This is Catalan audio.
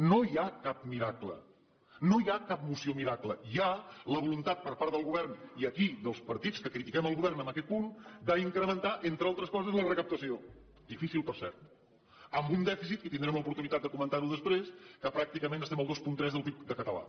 no hi ha cap miracle no hi ha cap moció miracle hi ha la voluntat per part del govern i aquí dels partits que critiquem el govern en aquest punt d’incrementar entre altres coses la recaptació difícil per cert amb un dèficit que tindrem l’oportunitat de comentar ho després que pràcticament estem al dos coma tres del pib català